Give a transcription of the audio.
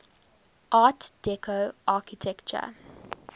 art deco architecture